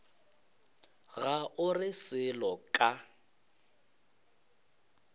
ga o re selo ka